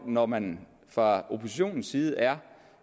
når man fra oppositionens side er